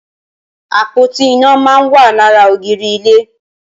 Apótí iná mà n wà làrà ógìrì ilé